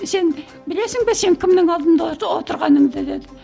сен білесің бе сен кімнің алдында отырғаныңды деді